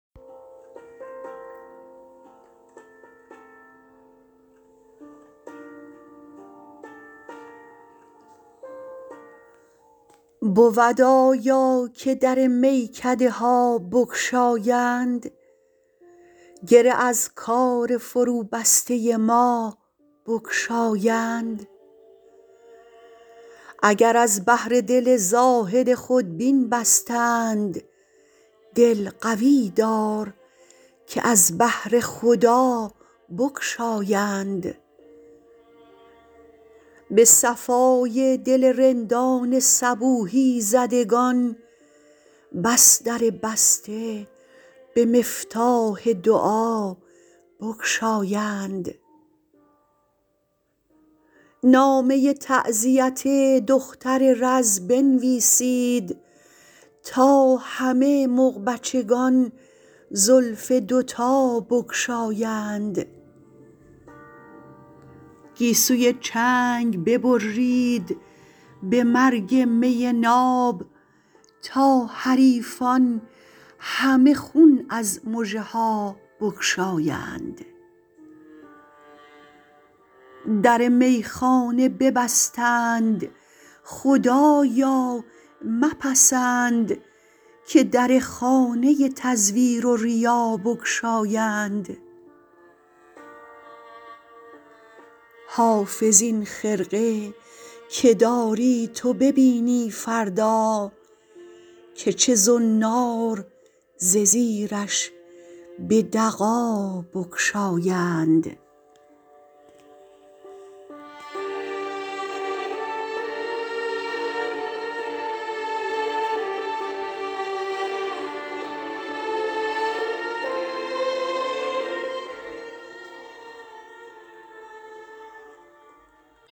بود آیا که در میکده ها بگشایند گره از کار فروبسته ما بگشایند اگر از بهر دل زاهد خودبین بستند دل قوی دار که از بهر خدا بگشایند به صفای دل رندان صبوحی زدگان بس در بسته به مفتاح دعا بگشایند نامه تعزیت دختر رز بنویسید تا همه مغبچگان زلف دوتا بگشایند گیسوی چنگ ببرید به مرگ می ناب تا حریفان همه خون از مژه ها بگشایند در میخانه ببستند خدایا مپسند که در خانه تزویر و ریا بگشایند حافظ این خرقه که داری تو ببینی فردا که چه زنار ز زیرش به دغا بگشایند